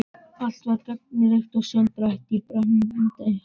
Allt var gagnrýnt og sundurtætt í brennandi háði.